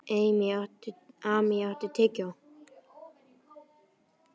Amý, áttu tyggjó?